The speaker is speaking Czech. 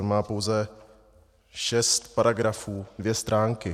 On má pouze šest paragrafů, dvě stránky.